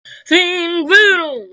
Þín, Guðrún.